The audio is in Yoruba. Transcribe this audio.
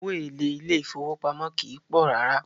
Owó èlé ilé ìfọwọ́pamó kìí pọ̀ rárá.